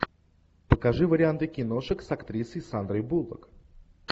покажи варианты киношек с актрисой сандрой буллок